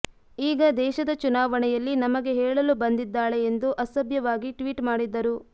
ಈಗ ದೇಶದ ಚುನಾವಣೆಯಲ್ಲಿ ನಮಗೆ ಹೇಳಲು ಬಂದಿದ್ದಾಳೆ ಎಂದು ಅಸಭ್ಯವಾಗಿ ಟ್ವೀಟ್ ಮಾಡಿದ್ದರು